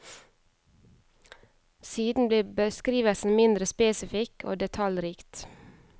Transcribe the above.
Siden blir beskrivelsen mindre spesifikk og detaljrikt.